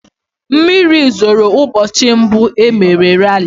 Mmiri zoro ụbọchị mbụ e mere rali.